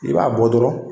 I b'a bɔ dɔrɔn